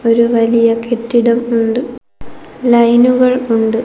ഒരു വലിയ കെട്ടിടമുണ്ട് ലൈനുകൾ ഉണ്ട്.